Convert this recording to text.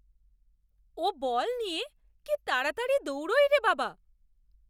ও ball নিয়ে কি তাড়াতাড়ি দৌড়ায় রে বাবা!